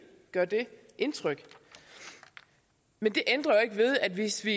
gør det indtryk men det ændrer jo ikke ved at vi hvis vi